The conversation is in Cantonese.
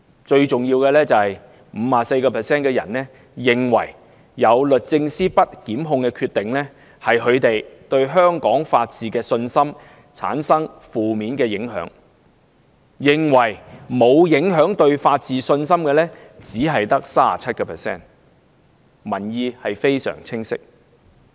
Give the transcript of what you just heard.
最重要的是，有 54% 受訪者認為，律政司不檢控的決定，令他們對香港法治的信心產生負面影響，認為對法治信心沒有影響的只有 37%。